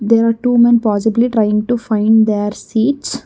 There are two men possibly trying to find their seats.